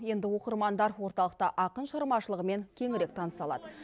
енді оқырмандар орталықта ақын шығармашылығымен кеңірек таныса алады